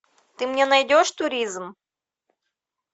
ты мне найдешь туризм